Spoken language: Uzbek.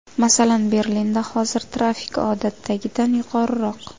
Masalan, Berlinda hozir trafik odatdagidan yuqoriroq.